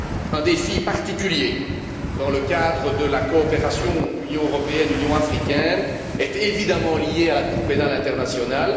Un défi particulier dans le cadre de la coopération Union européenne Union africaine est évidemment lié à la Cour pénale internationale.